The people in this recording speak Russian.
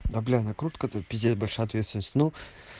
да бля накрутка это пиздец большая ответственность ну